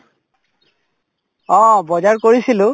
অ, বজাৰ কৰিছিলো।